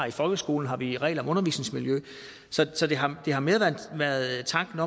i folkeskolen har vi regler om undervisningsmiljø så det har har mere været tanken